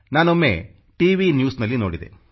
ನಾನೊಮ್ಮೆ T V ನ್ಯೂಸ್ನಲ್ಲಿ ನೋಡಿದೆ